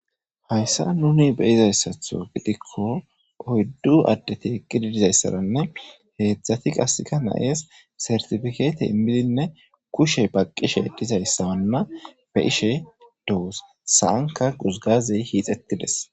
Hayssa nuni be izayssatho gidikko oyddu addeti eqqidi dizayssaranne heedzdzati qasika nayes sertifikeete immidinne kushe baqqishe dizayssawanna be ishe dowos saanka guzgazey hiixetides.